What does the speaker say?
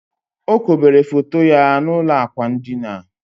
O kobere foto ya n'ụlọ ákwà ndina